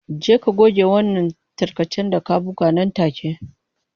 Je ka goge wannan tarkacen da ka buga nan take.